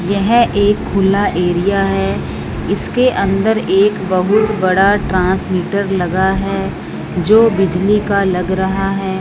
यह एक खुला एरिया है इसके अंदर एक बहुत बड़ा ट्रांसमीटर लगा है जो बिजली का लग रहा है।